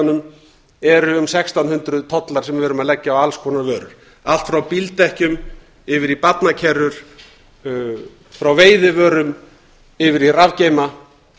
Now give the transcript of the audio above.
eru um sextán hundruð tollar sem við erum að leggja á alls konar vörur allt frá bíldekkjum yfir í barnakerrur frá veiðivörum yfir í rafgeyma